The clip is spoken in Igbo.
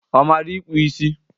Ọ mara ịkpụ isi?